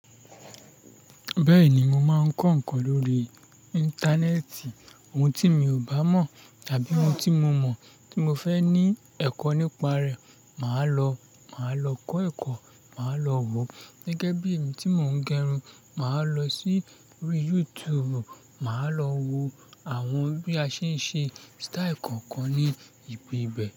Bẹ́ẹ̀ni, mo máa ń kọ́ ǹkan lórí íńtánẹ́ẹ̀tì. Ohun tí mi ò bá mọ̀ tàbí ohun tí mo mọ̀ tí mo fẹ́ ní ẹ̀kọ́ nípa rẹ̀, màá lọ, màá lọ kọ́ ẹ̀kọ́, màá lọ wo. Gẹ́gẹ́ bí èmi tí mò ń gẹrun, màá lọ sí orí YouTube, màá lọ wo àwọn bí a ṣe ń ṣe sítáì kọ̀ọ̀kan ní ibi bẹ̀